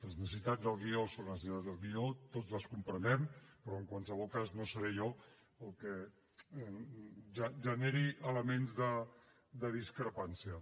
les necessitats del guió són les necessitats del guió tots les comprenem però en qualsevol cas no seré jo el que generi elements de discrepància